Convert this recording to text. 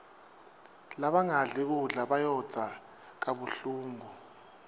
labangadli kudla bayondza kabuhlungu